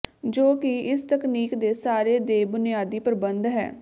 ਜੋ ਕਿ ਇਸ ਤਕਨੀਕ ਦੇ ਸਾਰੇ ਦੇ ਬੁਨਿਆਦੀ ਪ੍ਰਬੰਧ ਹੈ